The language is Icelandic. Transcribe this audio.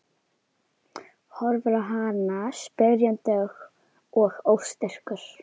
Horfir á hana spyrjandi og óstyrkur.